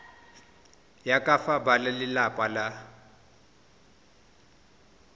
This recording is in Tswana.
ya ka fa balelapa ba